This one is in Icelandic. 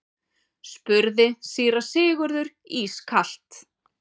spurði síra Sigurður ískalt.